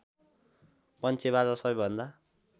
पञ्चेबाजा सबैभन्दा